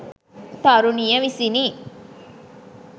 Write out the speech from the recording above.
තරුණිය විසිනි.